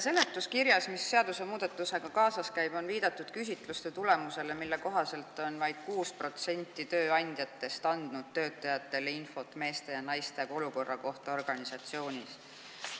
Seletuskirjas, mis seadusmuudatusega kaasas käib, on viidatud küsitluste tulemustele, mille kohaselt on vaid 6% tööandjatest andnud töötajatele infot meeste ja naiste olukorra kohta organisatsioonis.